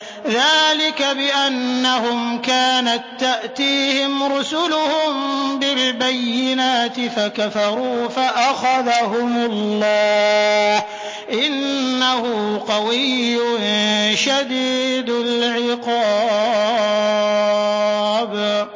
ذَٰلِكَ بِأَنَّهُمْ كَانَت تَّأْتِيهِمْ رُسُلُهُم بِالْبَيِّنَاتِ فَكَفَرُوا فَأَخَذَهُمُ اللَّهُ ۚ إِنَّهُ قَوِيٌّ شَدِيدُ الْعِقَابِ